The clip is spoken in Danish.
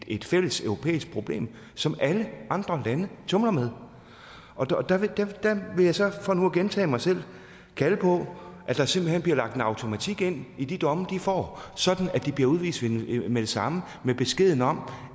et fælles europæisk problem som alle andre lande tumler med der vil jeg så for nu at gentage mig selv kalde på at der simpelt hen bliver lagt en automatik ind i de domme de får sådan at de bliver udvist med det samme med beskeden om